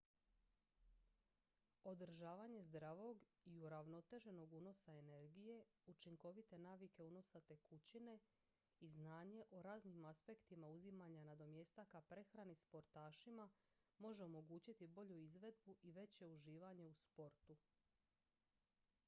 održavanje zdravog i uravnoteženog unosa energije učinkovite navike unosa tekućine i znanje o raznim aspektima uzimanja nadomjestaka prehrani sportašima može omogućiti bolju izvedbu i veće uživanje u sportu